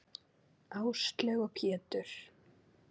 Áslaug og Pétur.